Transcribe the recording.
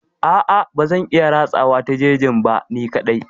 A'a bazan iya ratsawa ta jejin ba ni kaɗai.